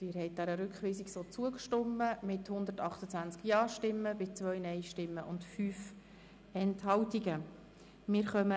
Der Rat hat den Rückweisungsantrag Siegenthaler/Bichsel angenommen.